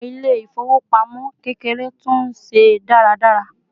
àwọn ilé ifowopamọ kekere tú n se dáradára